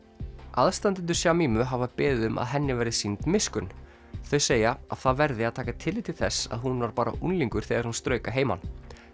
aðstandendur hafa beðið um að henni verði sýnd miskunn þau segja að það verði að taka tillit til þess að hún var bara unglingur þegar hún strauk að heiman